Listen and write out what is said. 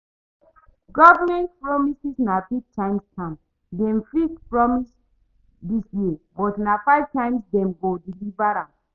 Government promises na big time scam, dem fit promise dis year but na five years time dem go deliver am.